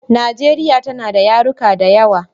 Najeriya tana ta yaruruka da yawa.